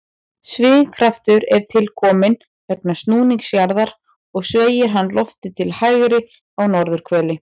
Svigkraftur er til kominn vegna snúnings jarðar og sveigir hann loftið til hægri á norðurhveli.